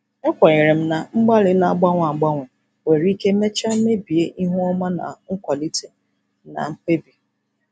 Ekwenyere m na mgbalị na-agbanwe agbanwe nwere ike mechaa mebie ihu ọma na nkwalite na mkpebi.